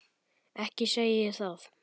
Ekki segi ég það.